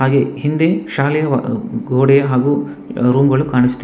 ಹಾಗೆ ಹಿಂದಿ ಶಾಲೆವ ಗೋಡೆ ಹಾಗು ರೂಮ್ ಗಳು ಕಾಣಿಸ್ತಿವೆ.